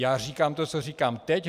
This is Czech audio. Já říkám to, co říkám teď.